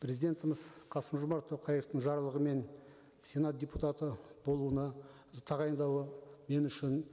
президентіміз қасым жомарт тоқаевтың жарлығымен сенат депутаты болуына тағайындауы мен үшін